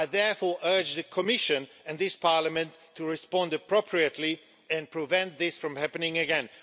I therefore urge the Commission and this Parliament to respond appropriately and prevent this from happening again.